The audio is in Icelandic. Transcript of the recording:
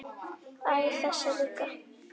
Æ, þessi líka